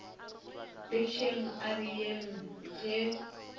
bjetšeng a re yeng ge